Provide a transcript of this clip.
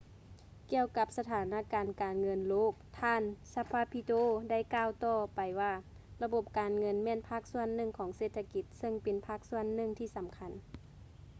ກ່ຽວກັບສະຖານະການການເງິນໂລກ ທ່ານ zapatero ໄດ້ກ່າວຕໍ່ໄປວ່າ ລະບົບການເງິນແມ່ນພາກສ່ວນໜຶ່ງຂອງເສດຖະກິດ ເຊິ່ງເປັນພາກສ່ວນໜຶ່ງທີ່ສຳຄັນ